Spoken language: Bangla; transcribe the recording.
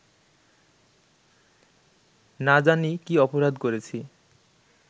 না জানি কী অপরাধ করেছি